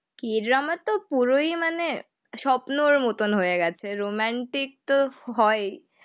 কী drama তো পুরোই মানে স্বপ্নর মতন হয়ে গেছে রোম্যান্টিক তো হই